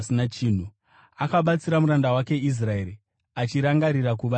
Akabatsira muranda wake Israeri, achirangarira kuva nengoni,